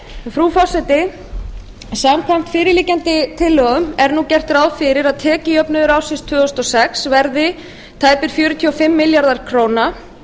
frú forseti samkvæmt fyrirliggjandi tillögum er nú gert ráð fyrir að tekjujöfnuður árin tvö þúsund og sex verði tæplega fjörutíu og fimm milljarðar króna